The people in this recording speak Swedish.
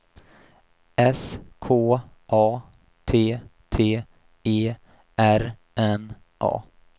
S K A T T E R N A